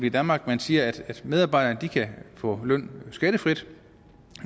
i danmark man siger at medarbejderne kan få løn skattefrit